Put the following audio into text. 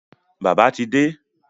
Bàbá ti de